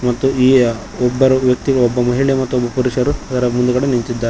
ಮತ್ತು ಈ ಒಬ್ಬರೂ ವ್ಯಕ್ತಿ ಒಬ್ಬ ಮಹಿಳೆ ಮತ್ತೊಬ್ಬ ಪುರುಷರು ಅದರ ಮುಂದ್ಗಡೆ ನಿಂತಿದ್ದಾ--